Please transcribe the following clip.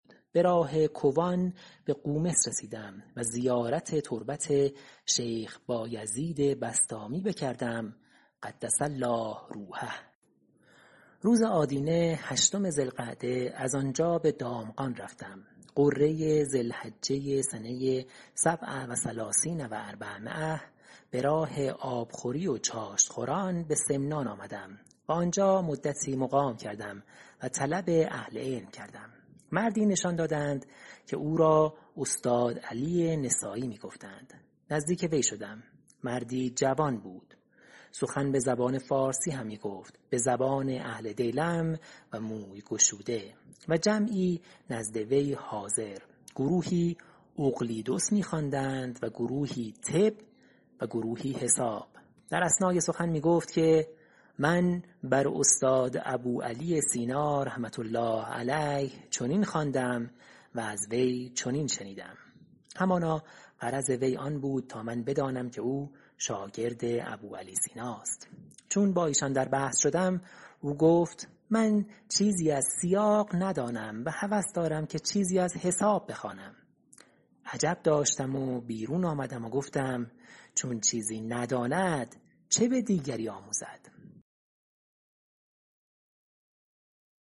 به راه کوان به قومس رسیدم و زیارت تربت شیخ بایزید بسطامی بکردم قدس الله روحه روز آدینه هشتم ذی القعده از آن جا به دامغان رفتم غره ذی الحجه سنه سبع و ثلثین و اربعمایه ۴٣٧ به راه آبخوری و چاشت خوران به سمنان آمدم و آنجا مدتی مقام کردم و طلب اهل علم کردم مردی نشان دادند که او را استاد علی نسایی می گفتند نزدیک وی شدم مردی جوان بود سخن به زبان فارسی همی گفت به زبان اهل دیلم و موی گشوده و جمعی نزد وی حاضر گروهی اقلیدس می خواندند و گروهی طب و گروهی حساب در اثنای سخن می گفت که من بر استاد ابوعلی سینا رحمة الله علیه چنین خواندم و از وی چنین شنیدم همانا غرض وی آن بود تا من بدانم که او شاگرد ابوعلی سیناست چون با ایشان در بحث شدم او گفت من چیزی از سیاق ندانم و هوس دارم که چیزی از حساب بخوانم عجب داشتم و بیرون آمدم و گفتم چون چیزی نداند چه به دیگری آموزد